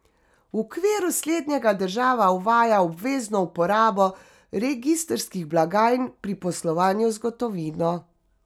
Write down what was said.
V okviru slednjega država uvaja obvezno uporabo registrskih blagajn pri poslovanju z gotovino.